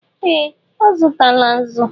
Ee! Ọ zụtala nzu.